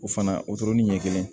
O fana o dɔrɔn ni ɲɛ kelen